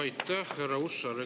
Aitäh, härra Hussar!